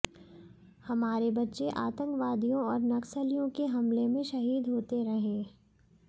हमारे बच्चे आतंकवादियों और नक्सलियों के हमले में शहीद होते रहें